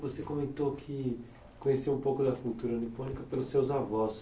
Você comentou que conheceu um pouco da cultura nipônica pelos seus avós.